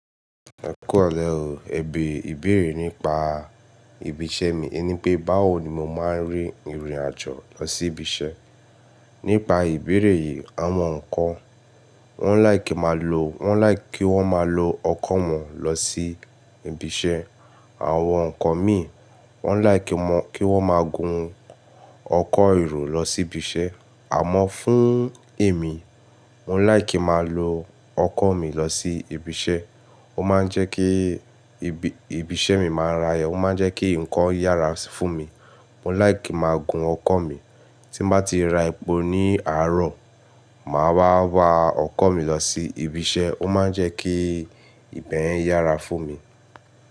Ẹ kú rọ̀lẹ oo. Ẹbere ìbéèrè nípa ibi iṣẹ́ mi i ni pé, báwo ni mo máa ń rín ìrìn àjò lọ sí ibi iṣẹ́? Nípa ìbéèrè yìí, àwọn kan wọ́n like ki wọ́n máa lo ọkọ̀ wọn lọ sí ibi iṣẹ́, àwọn nkan mi wọ́n like kí wọ́n máa gun ọkọ̀ èrò lọ sí ibi iṣẹ́. Àmọ́ fún èmi, mo like kí máa lo ọkọ̀ mi lọ sí ibi iṣẹ́. Ó máa ń jẹ́ kí ibi iṣẹ́ mi máa yara, ó máa ń jẹ́ kí nǹkan yára fún mi. Mo like kí máa gun ọkọ̀ mi. Tí n bá ti ra epo ní àárọ̀, màá wá wa ọkọ̀ mi lọ sí ibi iṣẹ́, ó máa ń jẹ́ kí ìbẹ̀yen yára fún mi.